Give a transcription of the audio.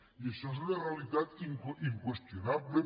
i això és una realitat inqüestionable